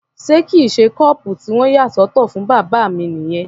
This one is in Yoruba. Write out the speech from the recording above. Ṣé kìí ṣe kọ́ọ̀pù tí wọ́n yà sọ́tọ̀ fún bàbá mi nìyẹn?